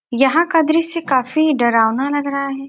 यहाँ का दृश्य काफी डरावना लग रहा है।